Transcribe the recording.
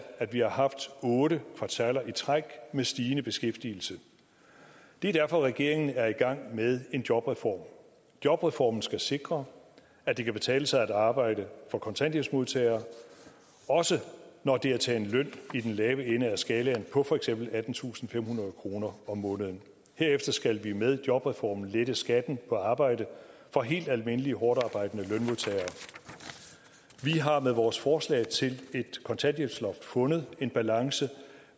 at vi har haft otte kvartaler i træk med stigende beskæftigelse det er derfor regeringen er i gang med en jobreform jobreformen skal sikre at det kan betale sig at arbejde for kontanthjælpsmodtagere også når det er til en løn i den lave ende af skalaen på for eksempel attentusinde og femhundrede kroner om måneden herefter skal vi med jobreformen lette skatten på arbejde for helt almindelige hårdtarbejdende lønmodtagere vi har med vores forslag til et kontanthjælpsloft fundet en balance